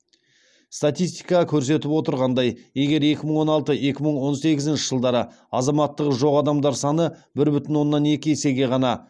статистика көрсетіп отырғандай егер екі мың он алты екі мың он сегізінші жылдары азаматтығы жоқ адамдар саны бір бүтін оннан екі есеге ғана